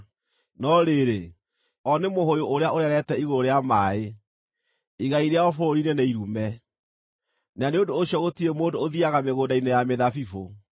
“No rĩrĩ, o nĩ mũhũũyũ ũrĩa ũrerete igũrũ rĩa maaĩ; igai rĩao bũrũri-inĩ nĩ irume, na nĩ ũndũ ũcio gũtirĩ mũndũ ũthiiaga mĩgũnda-inĩ ya mĩthabibũ.